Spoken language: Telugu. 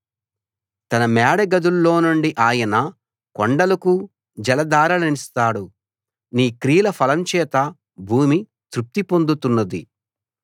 తన మేడ గదుల్లోనుండి ఆయన కొండలకు జలధారలనిస్తాడు నీ క్రియల ఫలం చేత భూమి తృప్తి పొందుతున్నది